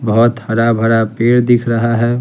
बहुत हरा भरा पेड़ दिख रहा है।